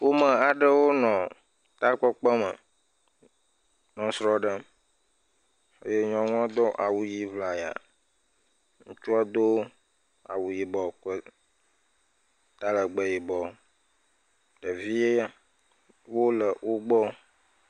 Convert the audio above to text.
Ƒome aɖewo nɔ takpekpeme nɔ srɔ̃ ɖem eye nyɔnuɔ do awu ʋi ŋlaya. Ŋutsua do awu yibɔ kple talɛgbɛ yibɔ. Ɖeviiwo le wogbɔ.